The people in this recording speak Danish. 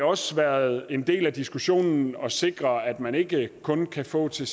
også været en del af diskussionen at sikre at man ikke kun kan få til